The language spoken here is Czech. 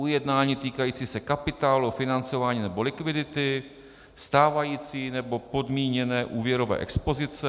ujednání týkající se kapitálu, financování nebo likvidity; stávající nebo podmíněné úvěrové expozice;